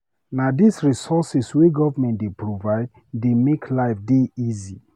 Na these resources wey government dey provide dey make life dey easy.